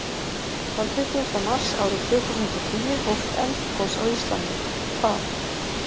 Þann tuttugasta mars árið tvö þúsund og tíu hófst eldgos á Íslandi. Hvar?